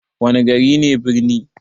Wana gari ne birni?